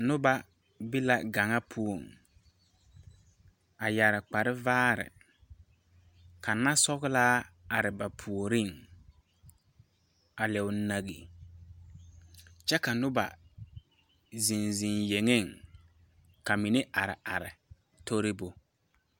Noba be la gaŋa poɔŋ yɛre kpare vaare ka naasɔglaa are ba puoriŋ a leɛo nagee kyɛ ka noba zeŋ zeŋ yeŋeŋ ka mine are are torebu.